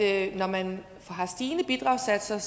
at når man har stigende bidragssatser er